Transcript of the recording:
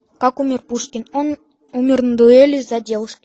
как умер пушкин он умер на дуэли из за девушки